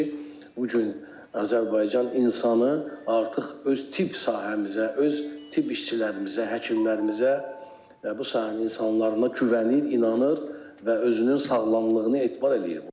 bu gün Azərbaycan insanı artıq öz tibb sahəmizə, öz tibb işçilərimizə, həkimlərimizə və bu sahənin insanlarına güvənir, inanır və özünün sağlamlığını etibar eləyir.